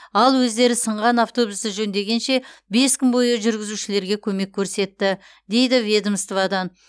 ал өздері сынған автобусты жөндегенше бес күн бойы жүргізушілерге көмек көрсетті дейді ведомстводан